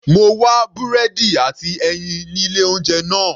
Mo wá búrẹ́dì àti ẹyin ní ilé oúnjẹ náà.